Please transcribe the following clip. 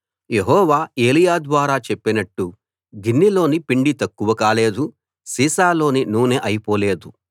యెహోవా ఏలీయా ద్వారా చెప్పినట్టు గిన్నెలోని పిండి తక్కువ కాలేదు సీసాలోని నూనె అయిపోలేదు